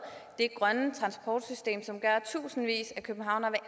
det grønne transportsystem som gør at tusindvis af københavnere